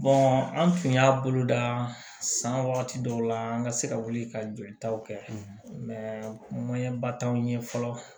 an tun y'a bolo da san wagati dɔw la an ka se ka wuli ka jolitaw kɛ ba t'anw ye fɔlɔ